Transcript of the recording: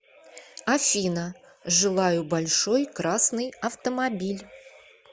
афина желаю большой красный автомобиль